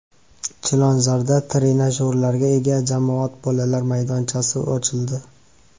Chilonzorda trenajyorlarga ega jamoat bolalar maydonchasi ochildi.